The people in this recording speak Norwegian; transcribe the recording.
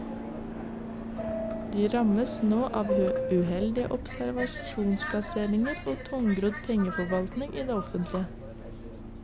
De rammes nå av uheldige obligasjonsplasseringer og tungrodd pengeforvaltning i det offentlige.